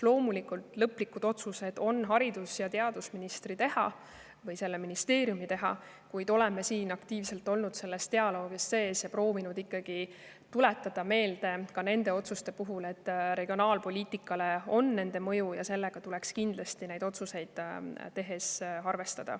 Loomulikult, lõplikud otsused on haridus- ja teadusministri teha või selle ministeeriumi teha, kuid oleme aktiivselt dialoogis olnud ja proovinud ikkagi nende otsuste puhul meelde tuletada, et neil on mõju ka regionaalpoliitikale ja sellega tuleks kindlasti neid otsuseid tehes arvestada.